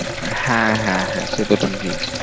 হ্যাঁ হ্যাঁ হ্যাঁ সে তো ঠিকই।